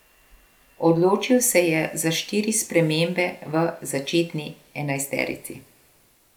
Odločil se je za štiri spremembe v začetni enajsterici.